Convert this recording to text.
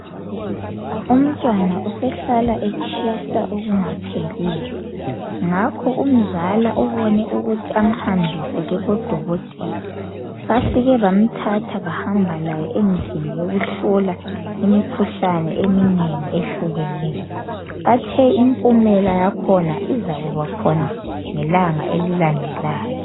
Umntwana usehlala etshisa okungapheliyo ngakho umzala ubone ukuthi amhambise kubodokotela. Bafike bamthatha bahamba laye endlini yokuhlola imikhuhlane eminengi ehlukeneyo. Bathe impumela yakhona izakuba khona ngelanga elilandelayo.